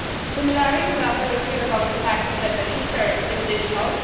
Similarly, we are very clear about the fact that the future is digital.